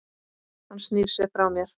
Hann snýr sér frá mér.